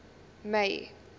may